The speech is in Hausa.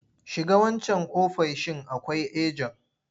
Shiga wancan ofoishin akwai ajen!